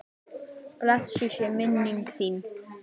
Blessuð sé minning þín.